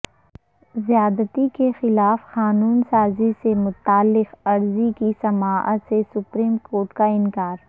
زیادتی کے خلاف قانون سازی سے متعلق عرضی کی سماعت سے سپریم کورٹ کا انکار